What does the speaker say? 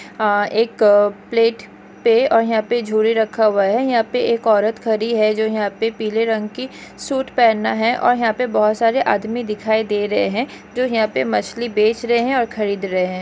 अ एक प्लेट पे और यहाँ पर झूरे रखा हुआ है यहाँ पे एक औरत खरी है जो यहाँ पे पीले रंग की सूट पहना हैं और बहुत सारे आदमी दिखाई दे रहे हैं जो यहाँ पे मछली बेच रहे हैं और खरीद रहे हैं ।